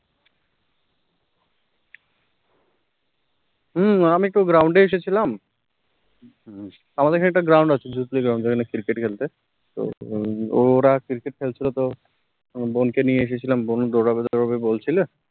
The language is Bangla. হম আমি তো ground এ এসেছিলাম আমাদের একটা ground আছ ground cricket খেলতে, তো ওরা